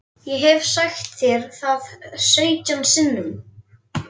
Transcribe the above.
Ég hef sagt þér það sautján sinnum.